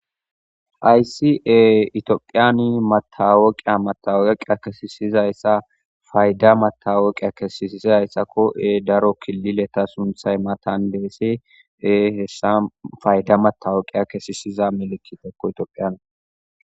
Aysi'e itiophiyani matawoqiya matawoqiya kesisizayssa fayda matawoqiya kesisisizayssakko ee daro kilileta sunthay matan deesse e hessa fayda matawoqiya kesisiza melikitekko itiophiyan